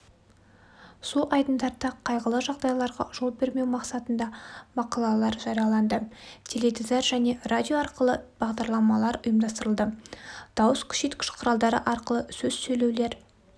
су айдындарда қайғылы жағдайларға жол бермеу мақсатында мақалалар жарияланды теледидар және радио арқылы бағдарламалар ұйымдастырылды дауыс күшейткіш құралдары арқылы сөз сөйлеулер